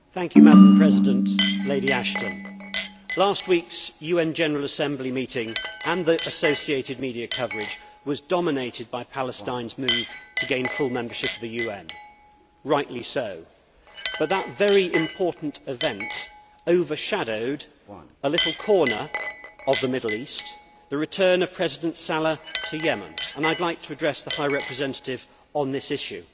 Madam President, last week's UN General Assembly meeting and the associated media coverage was dominated by Palestine's move to gain full membership of the UN rightly so but that very important event overshadowed a little corner of the Middle East the return of President Saleh to Yemen and I would like to address the High Representative on this issue.